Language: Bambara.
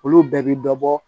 Olu bɛɛ bi dɔ bɔ